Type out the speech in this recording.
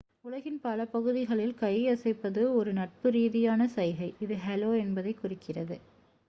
"உலகின் பல பகுதிகளில் கை அசைப்பது ஒரு நட்பு ரீதியான சைகை இது "ஹலோ" என்பதைக் குறிக்கிறது.